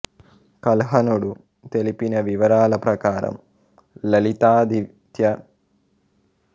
కల్హణుడు తెలిపిన వివరాల ప్రకారం లలితాదిత్య ముక్తాపీడుడు తన జీవితంలో అత్యధికభాగం సైనిక దండయాత్రలు జరపడంలోనే గడిపాడు